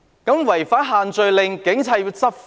有人違反限聚令，警察便要執法。